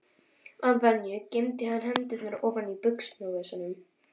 Að venju geymdi hann hendurnar ofan í buxnavösunum.